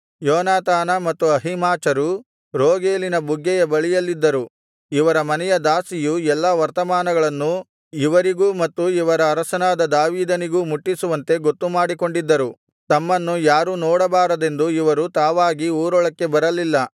ಯೋನಾತಾನ ಮತ್ತು ಅಹೀಮಾಚರು ರೋಗೆಲಿನ ಬುಗ್ಗೆಯ ಬಳಿಯಲ್ಲಿದ್ದರು ಇವರ ಮನೆಯ ದಾಸಿಯು ಎಲ್ಲಾ ವರ್ತಮಾನಗಳನ್ನು ಇವರಿಗೂ ಮತ್ತು ಇವರ ಅರಸನಾದ ದಾವೀದನಿಗೂ ಮುಟ್ಟಿಸುವಂತೆ ಗೊತ್ತುಮಾಡಿಕೊಂಡಿದ್ದರು ತಮ್ಮನ್ನು ಯಾರೂ ನೋಡಬಾರದೆಂದು ಇವರು ತಾವಾಗಿ ಊರೊಳಕ್ಕೆ ಬರಲಿಲ್ಲ